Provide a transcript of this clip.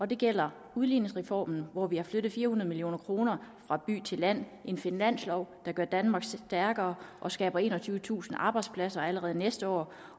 det gælder udligningsreformen hvor vi har flyttet fire hundrede million kroner fra by til land det en finanslov der gør danmark stærkere og skaber enogtyvetusind arbejdspladser allerede næste år